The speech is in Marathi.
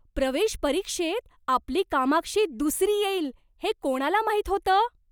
प्रवेश परीक्षेत आपली कामाक्षी दुसरी येईल हे कोणाला माहीत होतं?